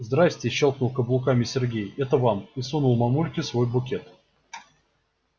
здрассте щёлкнул каблуками сергей это вам и сунул мамульке свой букет